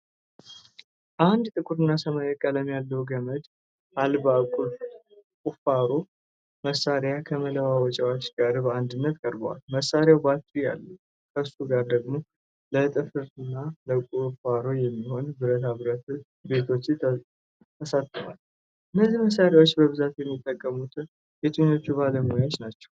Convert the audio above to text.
አንድ ጥቁርና ሰማያዊ ቀለም ያለው ገመድ አልባ ቁፋሮ መሣሪያ ከመለዋወጫዎቹ ጋር በአንድነት ቀርቧል። መሣሪያው ባትሪ አለው፣ ከሱ ጋር ደግሞ ለጥፍርና ለቁፋሮ የሚሆኑ ብረታ ብረት ቢቶች ተሰጥተዋል። እነዚህ መሳሪያዎች በብዛት የሚጠቀሙት የትኞቹ ባለሙያዎች ናቸው?